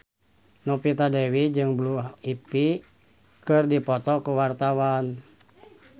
Novita Dewi jeung Blue Ivy keur dipoto ku wartawan